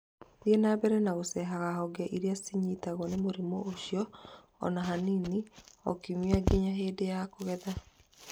Thiĩ na mbere gũcengaga honge iria cianyitĩtwo nĩ mũrimũ ũcio o na hanini o kiumia nginya hĩndĩ ya kũgetha.